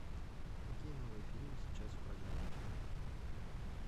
какие новые фильмы сейчас в программе